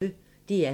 DR P1